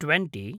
twenty